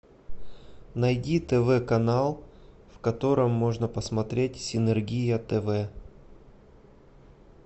найди тв канал в котором можно посмотреть синергия тв